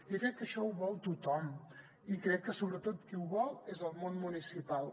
jo crec que això ho vol tothom i crec que sobretot qui ho vol és el món municipal